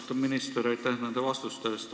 Austatud minister, aitäh nende vastuste eest!